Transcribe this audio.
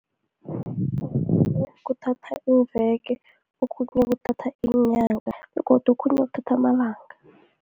Kuthatha iimveke, okhunye kuthatha iinyanga, godu okhunye kuthatha amalanga.